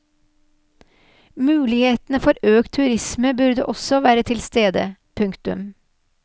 Mulighetene for økt turisme burde også være til stede. punktum